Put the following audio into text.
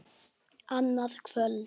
Þeir settust og léku.